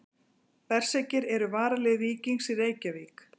Berserkir eru varalið Víkings í Reykjavík.